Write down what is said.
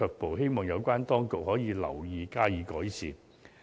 我希望有關當局能夠留意及加以改善。